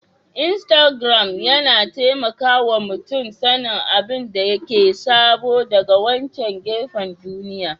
Iastagram yana taimaka wa mutum sanin abin da ke sabo daga wancan gefen duniya